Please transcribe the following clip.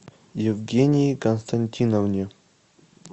евгении константиновне